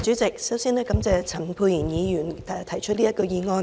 主席，首先，感謝陳沛然議員提出這項議案。